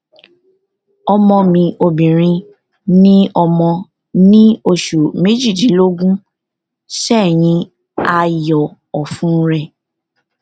ọmọ mi obìnrin ni ọmọ ní oṣù méjìdínlógún sẹyìn a yọ ọfun rẹ